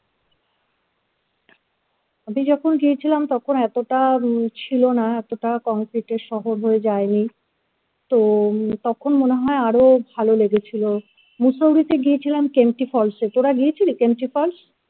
আমি যখন গিয়েছিলাম তখন এতটা উম ছিল না concrete এর শহর হয়ে যাই নি তো তখন মনে হয় আরো ভালো লেগেছিলো Mussoorie তে গিয়েছিলাম kemty falls এ তোরা গিয়েছিলি kemty falls?